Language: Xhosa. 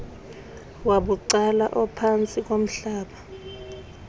wabucala ophantsi komhlaba